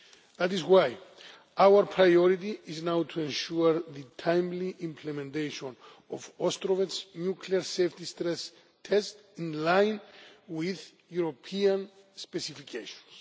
That is why our priority is now to ensure the timely implementation of Ostrovets nuclear safety stress tests in line with European specifications.